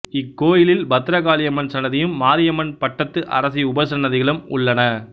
இக்கோயிலில் பத்ரகாளியம்மன் சன்னதியும் மாரியம்மன் பட்டத்து அரசி உபசன்னதிகளும் உள்ளன